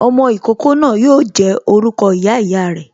Ọmọ ìkókó náà yo jẹ́ orúkọ ìyá ìyá re